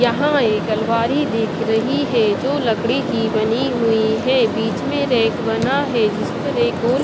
यहां एक अलवारी दिख रही है जो लकड़ी की बनी हुई है बीच में रैक बना है जिस पर एक गोल--